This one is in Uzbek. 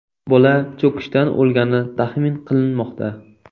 Bola cho‘kishdan o‘lgani taxmin qilinmoqda.